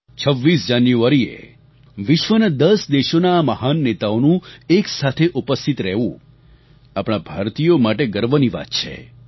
26 જાન્યુઆરીએ વિશ્વના 10 દેશોના આ મહાન નેતાઓનું એકસાથે ઉપસ્થિત રહેવું આપણા ભારતીયો માટે ગર્વની વાત છે